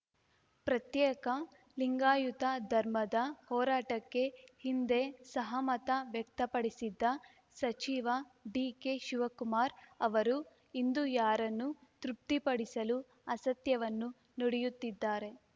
ಪ್ರತ್ಯೇಕ ಲಿಂಗಾಯುತ ಧರ್ಮದ ಹೋರಾಟಕ್ಕೆ ಹಿಂದೆ ಸಹಮತ ವ್ಯಕ್ತಪಡಿಸಿದ್ದ ಸಚಿವ ಡಿಕೆಶಿವಕುಮಾರ್‌ ಅವರು ಇಂದು ಯಾರನ್ನು ತೃಪ್ತಿಪಡಿಸಲು ಅಸತ್ಯವನ್ನು ನುಡಿಯುತ್ತಿದ್ದಾರೆ